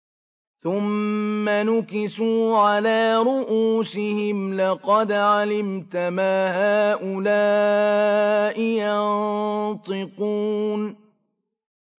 ثُمَّ نُكِسُوا عَلَىٰ رُءُوسِهِمْ لَقَدْ عَلِمْتَ مَا هَٰؤُلَاءِ يَنطِقُونَ